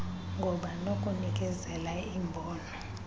ngoba nokunikezela imbono